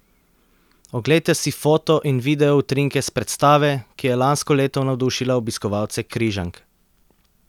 Oglejte si foto in video utrinke s predstave, ki je lansko leto navdušila obiskovalce Križank.